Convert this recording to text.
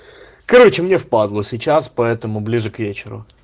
короче мне впадлу сейчас поэтому ближе к вечеру